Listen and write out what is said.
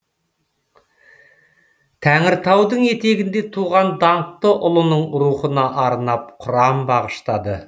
тәңіртаудың етегінде туған даңқты ұлының рухына арнап құран бағыштады